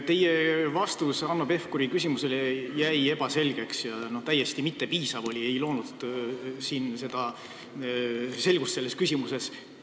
Teie vastus Hanno Pevkuri küsimusele jäi segaseks ja oli täiesti ebapiisav – selgust selles küsimuses me ei saanud.